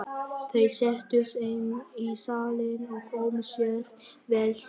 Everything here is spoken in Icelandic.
Þeir settust inn í salinn og komu sér vel fyrir.